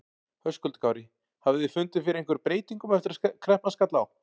Höskuldur Kári: Hafið þið fundið fyrir einhverjum breytingum eftir að kreppan skall á?